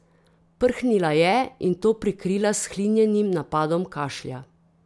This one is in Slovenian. Prhnila je in to prikrila s hlinjenim napadom kašlja.